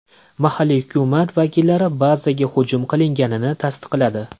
Mahalliy hukumat vakillari bazaga hujum qilinganini tasdiqladi.